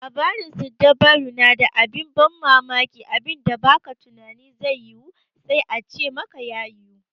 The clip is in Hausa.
Labarin siddabaru na da abin bammamaki, abinda ba ka tunanin zai yiwu sai a ce maka ya yiwu.